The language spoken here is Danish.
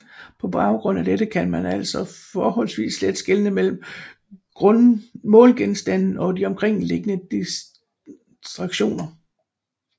På baggrund af dette kan man altså forholdsvis let skelne mellem målgenstanden og de omkringliggende distraktioner